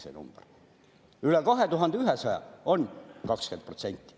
Üle 2100 on 20%.